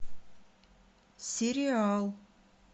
сериал